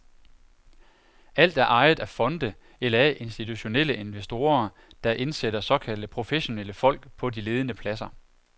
Alt er ejet af fonde eller af institutionelle investorer, der indsætter såkaldte professionelle folk på de ledende pladser.